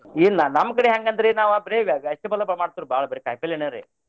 ಇಲ್ಲ ನಮ್ಮ ಕಡೆ ಹೆಂಗ ಅಂದ್ರಿ ನಾವ ಬರೆ ಈಗ vegetable ಮಾಡ್ತೇವ ಬಾಳ ಬರೆ ಕಾಯಿಪಲ್ಲೆನೆ ರೀ.